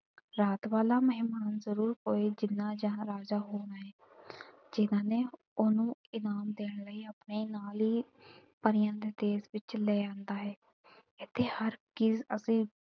ਰਾਤ ਵਾਲਾ ਮਹਿਮਾਨ ਜਰੂਰ ਕੋਈ ਜਿਨ੍ਹਾਂ ਜਹਾਂ ਰਾਜਾ ਹੋਣਾ ਏ ਜਿਨ੍ਹਾਂ ਨੇ ਉਹਨੂੰ ਇਨਾਮ ਦੇਣ ਲਈ ਆਪਣੇ ਨਾਲ ਈ ਪਰੀਆਂ ਦੇ ਦੇਸ਼ ਵਿਚ ਲੈ ਆਂਦਾ ਏ। ਇੱਥੇ ਹਰ ਚੀਜ਼ ਅਤੇ,